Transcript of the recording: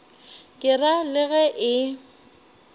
ke ra le ge e